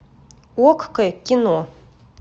окко кино